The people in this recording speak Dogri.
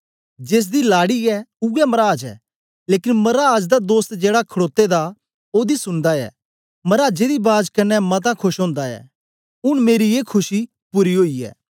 जेसदी लाडी ऐ ऊऐ मराज ऐ लेकन मराज दा दोस्त जेड़ा खड़ोते दा ओदी सुनदा ऐ मराजे दी बाज कन्ने मता खोश ओंदा ऐ ऊन मेरी ए खुशी पूरी ओई ऐ